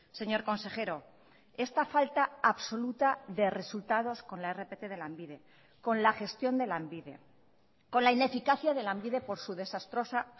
señor consejero esta falta absoluta de resultados con la rpt de lanbide con la gestión de lanbide con la ineficacia de lanbide por su desastrosa